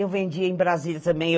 Eu vendia em Brasília também.